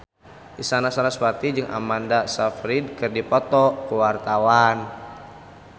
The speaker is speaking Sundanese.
Isyana Sarasvati jeung Amanda Sayfried keur dipoto ku wartawan